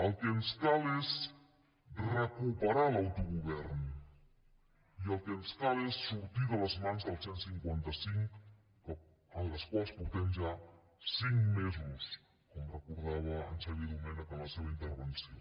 el que ens cal és recuperar l’autogovern i el que ens cal és sortir de les mans del cent i cinquanta cinc en les quals portem ja cinc mesos com recordava en xavier domènech en la seva intervenció